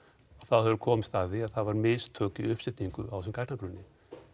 höfðu þeir komist að því að það voru mistök í uppsetningu á þessum gagnagrunni